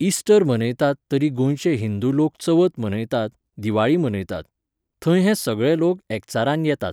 Easter मनयतात तरी गोंयचे हिंदू लोक चवथ मनयतात, दिवाळी मनयतात. थंय हे सगळे लोक एकचारान येतात